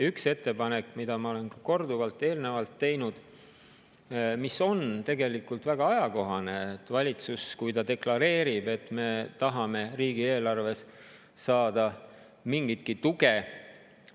Üks ettepanek, mida ma olen korduvalt eelnevalt teinud, mis on tegelikult väga ajakohane, on see: kui valitsus deklareerib, et me tahame riigieelarvesse saada mingitki tuge …